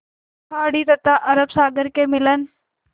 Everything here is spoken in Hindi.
खाड़ी तथा अरब सागर के मिलन